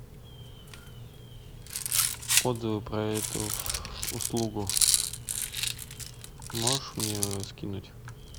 отзывы про эту услугу можешь мне скинуть